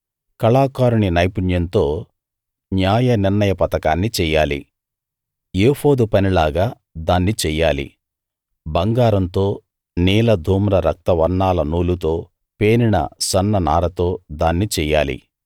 కళాకారుని నైపుణ్యంతో న్యాయనిర్ణయ పతకాన్ని చెయ్యాలి ఏఫోదు పని లాగా దాన్ని చెయ్యాలి బంగారంతో నీల ధూమ్ర రక్త వర్ణాల నూలుతో పేనిన సన్ననారతో దాన్ని చెయ్యాలి